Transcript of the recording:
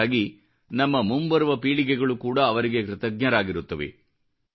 ಇದಕ್ಕಾಗಿ ನಮ್ಮ ಮುಂಬರುವ ಪೀಳಿಗೆಗಳು ಕೂಡ ಅವರಿಗೆ ಕೃತಜ್ಞರಾಗಿರುತ್ತವೆ